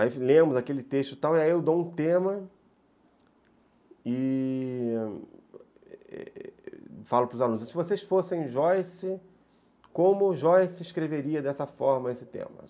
Aí lemos aquele texto e tal, e aí eu dou um tema e falo para os alunos, se vocês fossem Joyce, como Joyce escreveria dessa forma esse tema?